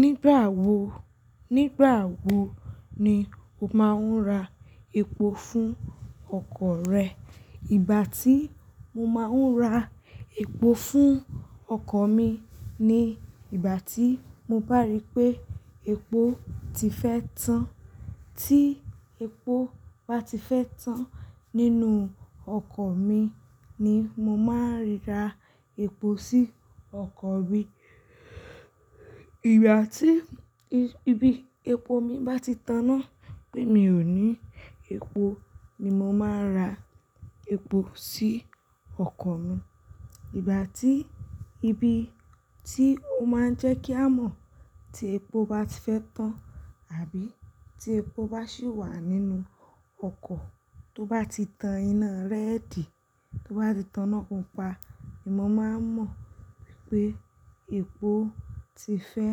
Nígbàwo, nígbàwo ni o máa ń ra epo fún ọkọ̀ rẹ? Ìgbà tí mo máa ń ra epo fún ọkọ̀ mi ni ìgbà tí mo bá rí pé epo ti fẹ́ tán. Tí epo báti fẹ́ tán nínú ọkọ̀ mi ni mo máa ń ra epo sí ọkọ̀ mi. Ìgbà tí ibi epo mi báti taná pé mi ò ní epo ni mo máa ra epo sí ọkọ̀ mi. Ìgbà tí ibi tí ó máa ń jẹ́ kí a mọ̀ tí epo báti fẹ́ tán àbí tí epo bá sì wà nínú ọkọ̀, tó bá ti tan iná rẹ́ẹ̀dì, tó bá ti taná pupa ni mo máa ń mọ̀ wípé epo ti fẹ́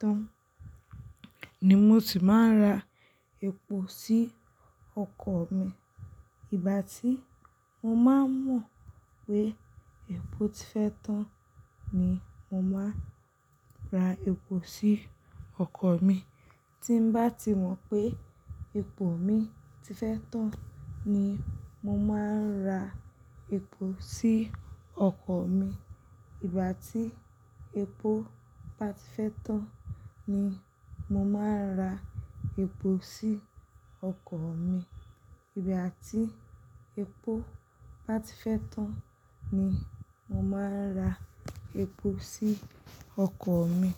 tán ni mo sì máa ń ra epo sí ọkọ̀ mi. Ìgbà tí mo máa ń mọ̀ pé epo ti fẹ́ tán ni mo máa ra epo sí ọkọ̀ mi. Tí bá ti mọ̀ pé epo mi ti fẹ́ tán ni mo máa ń ra epo sí ọkọ̀ mi. Ìgbà tí epo báti fẹ́ tán ni mo máa ra epo sí ọkọ̀ mi. Ìgbà tí epo báti fẹ́ tán ni mo máa ra epo sí ọkọ̀ mi.